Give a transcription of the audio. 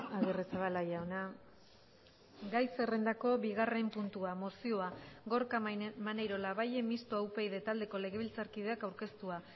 agirrezabala jauna gai zerrendako bigarren puntua mozioa gorka maneiro labayen mistoa upyd taldeko legebiltzarkideak aurkeztua